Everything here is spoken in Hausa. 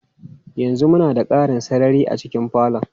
Yanzu muna da ƙarin sarari a cikin falon.